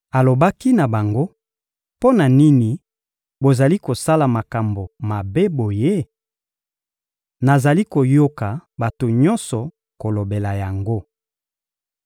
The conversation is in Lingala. Alobaki na bango: «Mpo na nini bozali kosala makambo mabe boye? Nazali koyoka bato nyonso kolobela yango.